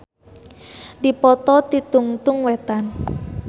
Dipoto ti tungtung wetan.